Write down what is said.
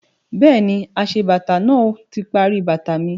Bẹ́ẹ̀ni, aṣebàtà náà ti parí bàtà mi